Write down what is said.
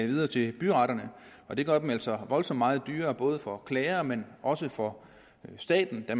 videre til byretterne og det gør dem altså voldsomt meget dyrere for klager men også for staten da